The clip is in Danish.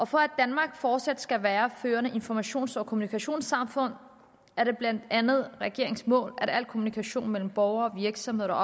for at danmark fortsat skal være et førende informations og kommunikationssamfund er det blandt andet regeringens mål at al kommunikation mellem borgere og virksomheder og